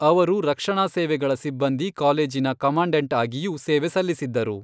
ಅವರು ರಕ್ಷಣಾ ಸೇವೆಗಳ ಸಿಬ್ಬಂದಿ ಕಾಲೇಜಿನ ಕಮಾಂಡೆಂಟ್ ಆಗಿಯೂ ಸೇವೆ ಸಲ್ಲಿಸಿದ್ದರು.